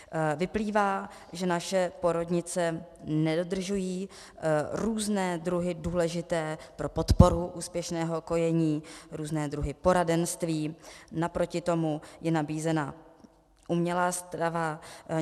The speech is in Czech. Vyplývá, že naše porodnice nedodržují různé druhy důležité pro podporu úspěšného kojení, různé druhy poradenství, naproti tomu je nabízena umělá strava.